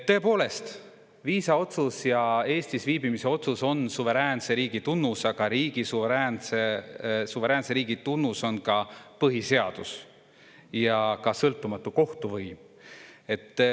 Tõepoolest, viisaotsus ja Eestis viibimise otsus on suveräänse riigi tunnus, aga suveräänse riigi tunnus on ka põhiseadus ja ka sõltumatu kohtuvõim.